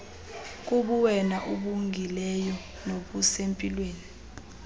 kubuwena obungileyo nobusempilweni